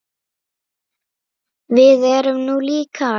Við erum nú líkar!